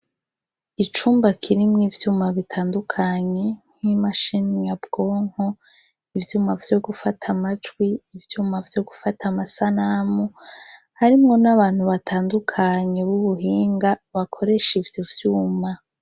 Icumba kirimwo ivyuma bitandukanye n'imashine nyabwonko ivyuma vyo gufata amajwi ivyuma vyo gufata amasanamu harimwo n'abantu batandukanye bubuhinga bakoresha ivyo vyuma.